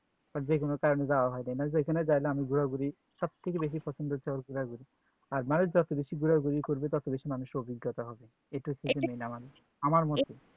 আর যে কোনো কারণে যাওয়া হয়নি জাইলাম ঘুরাঘুরি সব কিছু বেশি পছন্দ হচ্ছে ওই ঘুরাঘুরি আর মানুষ যত বেশি ঘুরাঘুরি করবে তাঁত বেশি মানুইসের অভিজ্ঞতা হবে এটাহচ্ছে আমার মতে